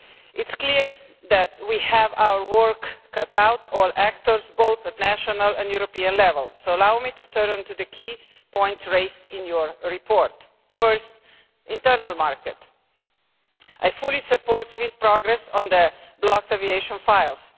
It is clear that we have our work cut out all actors, both at national and European level so allow me to turn to the key points raised in your report. First, regarding the internal market, I fully support swift progress on the blocked aviation files.